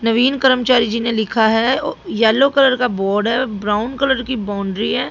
नवीन कर्मचारी जी ने लिखा है येलो कलर का बोर्ड है ब्राउन कलर की बाउंड्री है।